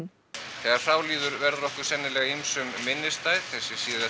þegar frá líður verður okkur sennilega ýmsum minnisstætt þessi